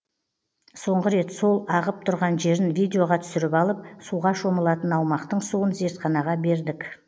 соңғы рет сол ағып тұрған жерін видеоға түсіріп алып суға шомылатын аумақтың суын зертханаға бердік